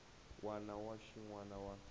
wana na xin wana xa